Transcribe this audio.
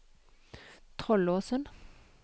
Trollåsen